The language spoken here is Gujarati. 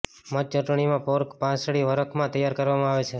મધ ચટણીમાં પોર્ક પાંસળી વરખ માં તૈયાર કરવામાં આવે છે